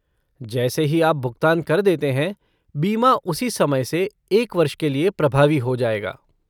जैसे ही आप भुगतान कर देते हैं, बीमा उसी समय से एक वर्ष के लिए प्रभावी हो जाएगा।